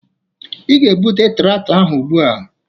Ị ga-ebute traktọ ahụ ugbu a!